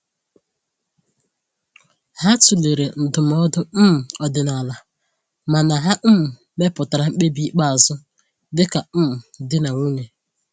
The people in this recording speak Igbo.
Ha tụlere ndụmọdụ um ọdịnala, mana ha um mepụtara mkpebi ikpeazụ dịka um di na nwunye.